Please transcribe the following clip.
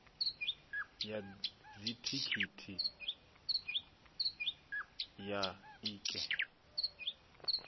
ya dzithikhithi ya i eki